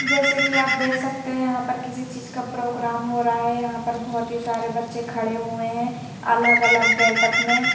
जैसे कि आप देख सकते हैं यहां पर किसी चीज का प्रोग्राम हो रहा है यहां पर बहोत ही सारे बच्चे खड़े हुए हैं अलग अलग गेट अप में--